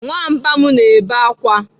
Nwamba m na-ebe akwa.